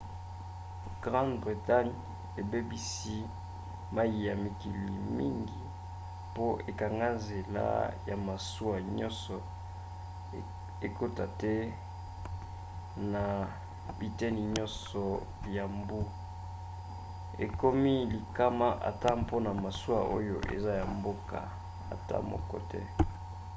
grande bretagne ebebisi mai ya mikili mingi po ekanga nzela na masuwa nyonso ekota te na biteni nyonso ya mbu ekomi likama ata mpona masuwa oyo eza ya mboka ata moko te